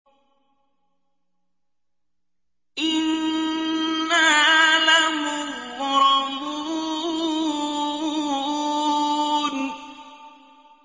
إِنَّا لَمُغْرَمُونَ